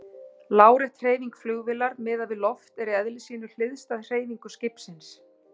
Lárétt hreyfing flugvélar miðað við loft er í eðli sínu hliðstæð hreyfingu skipsins.